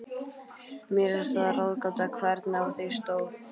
Mér er það ráðgáta, hvernig á því stóð.